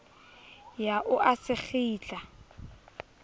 ya o a se kgitla